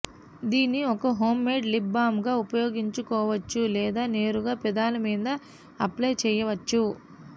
దీన్ని ఒక home made lip balm గా ఉపయోగించుకోవచ్చు లేదా నేరుగా పెదాల మీద అప్లై చేయవచ్చు